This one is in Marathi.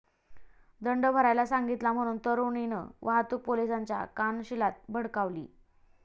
दंड भरायला सांगितला म्हणून तरुणीनं वाहतूक पोलिसाच्या कानशिलात भडकावली